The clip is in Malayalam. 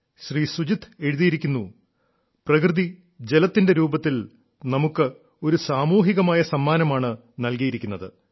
ശ്രീ സുജിത്ത് എഴുതിയിരിക്കുന്നു പ്രകൃതി ജലത്തിന്റെ രൂപത്തിൽ നമുക്ക് ഒരു സാമൂഹികമായ സമ്മാനമാണ് നൽകിയിരിക്കുന്നത്